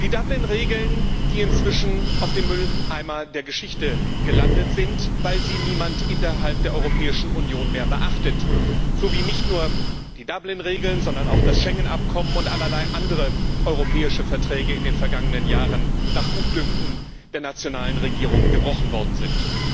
Die Dublin Regeln, die inzwischen auf dem Mülleimer der Geschichte gelandet sind, weil sie niemand innerhalb der Europäischen Union mehr beachtet, so wie nicht nur die Dublin Regeln, sondern auch das Schengen Abkommen und allerlei andere europäische Verträge in den vergangenen Jahren nach Gutdünken der nationalen Regierungen gebrochen worden sind.